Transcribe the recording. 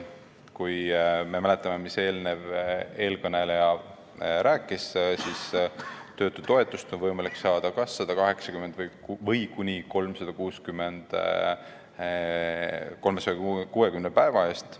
Kui me mäletame, mis eelkõneleja rääkis, siis töötutoetust on võimalik saada kas 180 või kuni 360 päeva eest.